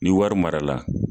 Ni wari mara la